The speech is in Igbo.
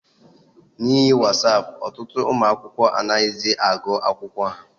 N'ihi wasapụ, ọtụtụ ụmụ akwụkwọ anaghịzị agụ akwụkwọ ha.